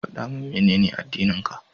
Faɗa min Menene addininka?